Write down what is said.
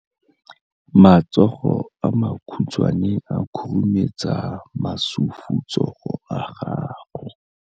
Matsogo a makhutshwane a khurumetsa masufutsogo a gago.